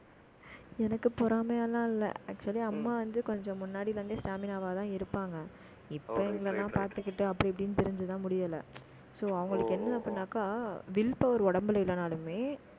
எனக்கு பொறாமையெல்லாம் இல்லை. actually அம்மா வந்து, கொஞ்சம் முன்னாடில இருந்தே stamina வாதான் இருப்பாங்க. இப்போ, இதெல்லாம் பார்த்துக்கிட்டு, அப்படி இப்படின்னு, திரிஞ்சுதான் முடியலை. so அவங்களுக்கு என்ன அப்படின்னாக்கா, will power உடம்புல இல்லைனாலுமே